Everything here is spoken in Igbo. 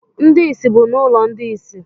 Ndị isi bụ n’ụlọ ndi isi